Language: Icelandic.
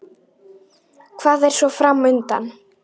Hvað er svo fram undan?